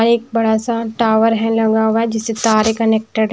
एक बड़ा सा टावर है लगा हुआ जिससे तारे कनेक्टेड --